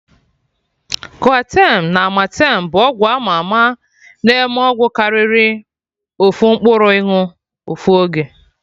Coartem na amartem bụ ọgwụ ama ama na enwe ọgwụ karịrị ofu mkpụrụ ịnụ ofu oge